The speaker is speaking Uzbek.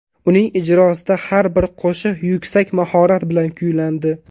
Uning ijrosida har bir qo‘shiq yuksak mahorat bilan kuylandi.